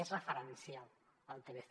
és referencial el tlc